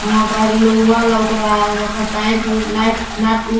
वहां पर लोहा लॉक रहा है वहां पर पाइप उप नायफ नट उट--